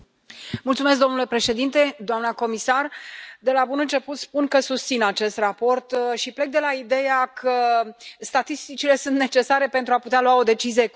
Domnule președinte, doamnă comisar, de la bun început spun că susțin acest raport și plec de la ideea că statisticile sunt necesare, pentru a putea lua o decizie corectă.